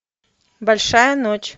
большая ночь